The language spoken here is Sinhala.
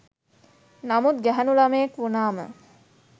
නමුත් ගැහැනු ලමයෙක් වුනාම